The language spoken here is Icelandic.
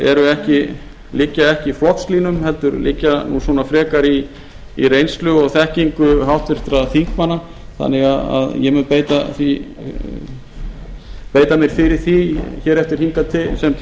áðan liggja ekki í flokkslínum heldur liggja frekar í reynslu og þekkingu háttvirtra þingmanna þannig að ég mun beita mér fyrir því hér eftir sem